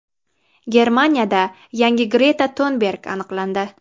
Germaniyada yangi Greta Tunberg aniqlandi.